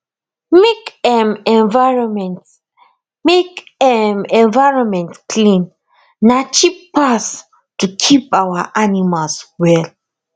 make um environment make um environment clean na cheap pass to keep our animals well